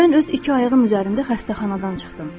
Mən öz iki ayağım üzərində xəstəxanadan çıxdım.